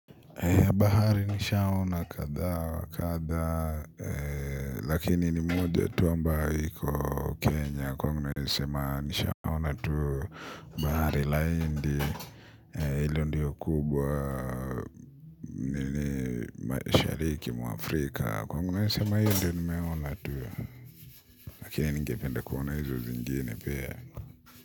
Bahari nishaona kadhaa wa kadhaa lakini ni moja tu ambayo iko Kenya kwangu naweza sema nishaona tuu. Bahari la hindi ilo ndio kubwa nini mashariki mwa Afrika kwangu naeza sema hiyo ndio nimeona tuu lakini ningependa kuona hizo zingine pia.